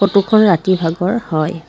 Photo খন ৰাতিৰ ভাগৰ হয়।